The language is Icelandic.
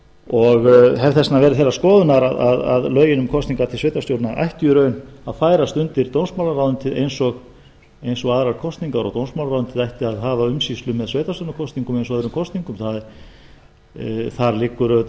og hef þess vegna verið þeirrar skoðunar að lögin um kosningar til sveitarstjórna ættu í raun að færast undir dómsmálaráðuneytið eins og aðrar kosningar og dómsmálaráðuneytið ætti að hafa umsýslu með sveitarstjórnarkosningum eins og öðrum kosningum það liggur auðvitað